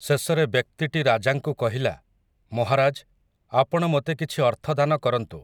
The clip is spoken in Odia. ଶେଷରେ ବ୍ୟକ୍ତିଟି ରାଜାଙ୍କୁ କହିଲା, ମହାରାଜ, ଆପଣ ମୋତେ କିଛି ଅର୍ଥଦାନ କରନ୍ତୁ ।